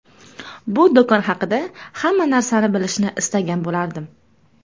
Bu do‘kon haqida hamma narsani bilishni istagan bo‘lardim.